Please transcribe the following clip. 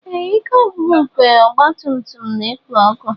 Ee, ike ọgwụgwụ nke ọgba tum tum na-ekpo ọkụ.